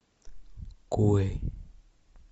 кой